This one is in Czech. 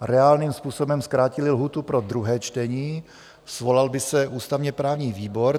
reálným způsobem zkrátili lhůtu pro druhé čtení, svolal by se ústavně-právní výbor.